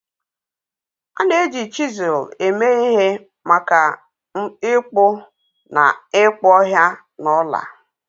A na-eji chizul eme ihe maka ịkpụ na ịkpụ ọhịa na ọla